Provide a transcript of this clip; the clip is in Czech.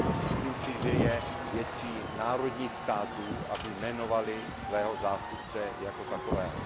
Myslím si, že je věcí národních států, aby jmenovaly svého zástupce jako takového.